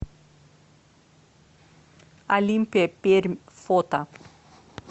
олимпия пермь фото